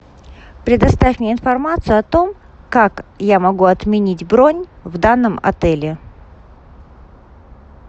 предоставь мне информацию о том как я могу отменить бронь в данном отеле